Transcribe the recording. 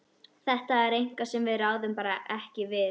Þetta er eitthvað sem við ráðum bara ekki við.